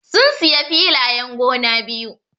Sun siya filayen gona biyu.